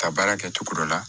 Ka baara kɛ cogo dɔ la